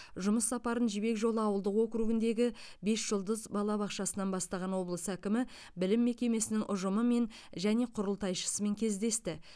жұмыс сапарын жібек жолы ауылдық округіндегі бес жұлдыз балабақшасынан бастаған облыс әкімі білім мекемесінің ұжымымен және құрылтайшысымен кездесті